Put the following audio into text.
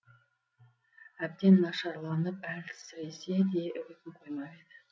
әбден нашарланып әлсіресе де үгітін қоймайды